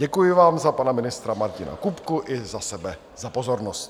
Děkuji vám za pana ministra Martina Kupku i za sebe za pozornost.